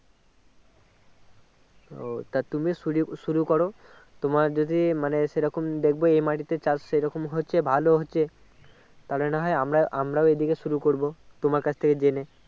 ও তা তুমি সুরি শুরু করো তোমার যদি মানে সেই রকম দেখবে এই মাটিতে চাষ সেরকম হচ্ছে ভালো হচ্ছে তাহলে না হয় আমরা আমরা এইদিকে শুরু করবো তোমার কাছ থেকে জেনে